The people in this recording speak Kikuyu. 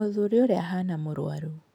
Mũthuri ũrĩa ahana mũrwaru.